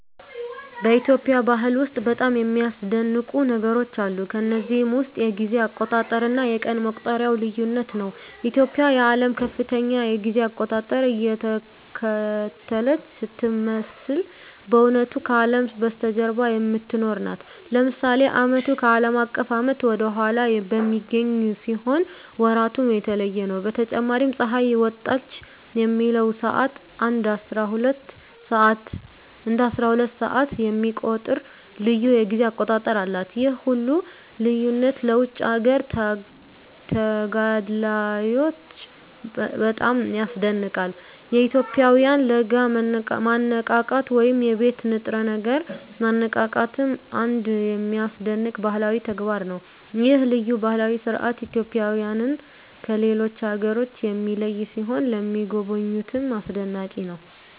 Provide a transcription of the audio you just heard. በኢትዮጵያ ባህል ውስጥ በጣም የሚያስደንቁ ነገሮች አሉ። ከነዚህም ውስጥ የጊዜ አቆጣጠር እና የቀን መቁጠሪያው ልዩነት ነው። ኢትዮጵያ የዓለምን ከፍተኛ የጊዜ አቆጣጠር እየተከተለች ስትመስል በእውነቱ ከአለም በስተጀርባ የምትኖር ናት። ለምሳሌ ዓመቱ ከአለም አቀፍ ዓመት ወደ ኋላ በሚገኝ ሲሆን ወራቱም የተለየ ነው። በተጨማሪም ፀሐይ ወጣች የሚለውን ሰዓት እንደ አስራሁለት ሰዓት የሚቆጥር ልዩ የጊዜ አቆጣጠር አላት። ይህ ሁሉ ልዩነት ለውጭ አገር ተጋዳላዮች በጣም ያስደንቃል። የኢትዮጵያውያን ለጋ ማነቃቃት ወይም የቤት ንጥረ ነገር ማነቃቃትም አንድ የሚያስደንቅ ባህላዊ ተግባር ነው። ይህ ልዩ ባህላዊ ሥርዓት ኢትዮጵያውያንን ከሌሎች አገሮች የሚለይ ሲሆን ለሚጎበኙትም አስደናቂ ነው።